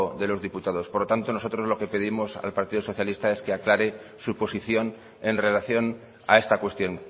de los diputados por tanto nosotros lo que pedimos al partido socialista es que aclare su posición en relación a esta cuestión